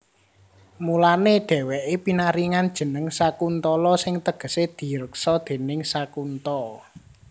Mulané dhèwèké pinaringan jeneng Sakuntala sing tegesé direksa déning Sakunta